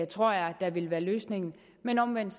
tror jeg der vil være løsningen men omvendt